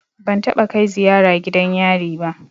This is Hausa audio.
Ban taɓa kai ziyara gidan yari ba.